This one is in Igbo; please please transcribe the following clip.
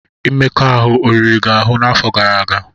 Mmekọahụ o riri gị ahụ n'afọ gara aga?